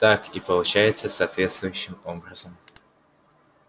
так и получается соответствующим образом